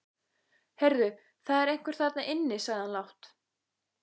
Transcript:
Heyrðu, það er einhver þarna inni sagði hann lágt.